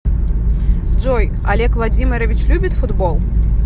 джой олег владимирович любит футбол